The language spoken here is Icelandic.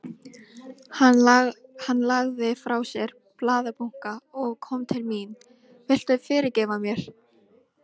Hann lagði frá sér blaðabunka og kom til mín. Viltu fyrirgefa mér?